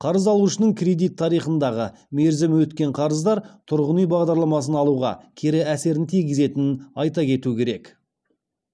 қарыз алушының кредит тарихындағы мерзімі өткен қарыздар тұрғын үй бағдарламасын алуға кері әсерін тигізетінін айта кету керек